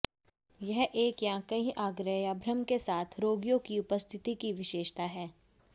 यह एक या कई आग्रह या भ्रम के साथ रोगियों की उपस्थिति की विशेषता है